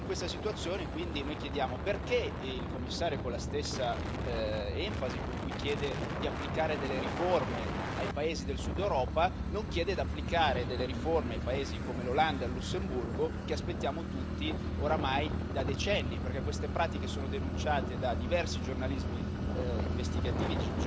In questa situazione quindi noi chiediamo perché il Commissario, con la stessa enfasi con cui chiede di applicare delle riforme ai paesi del Sud Europa, non chiede di applicare delle riforme ai paesi come l'Olanda e il Lussemburgo che aspettiamo tutti oramai da decenni, perché queste pratiche sono denunciate da diversi giornalisti investigativi